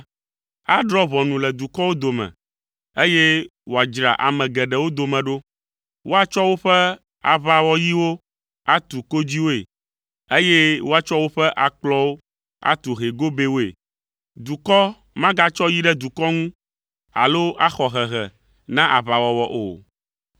Adrɔ̃ ʋɔnu le dukɔwo dome, eye wòadzra ame geɖewo dome ɖo. Woatsɔ woƒe aʋawɔyiwo atu kodzoewoe, eye woatsɔ woƒe akplɔwo atu hɛ̃ gobɛwoe. Dukɔ magatsɔ yi ɖe dukɔ ŋu alo axɔ hehe na aʋawɔwɔ o.